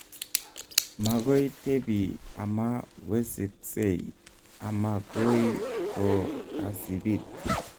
Magoi tebi ama weseskei ama goi ko kasibiit